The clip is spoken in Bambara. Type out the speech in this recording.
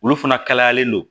Olu fana kalayalen don